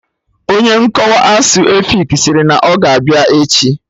Onye nkọwa asụsụ efik sịrị na ọ ga-abịa echi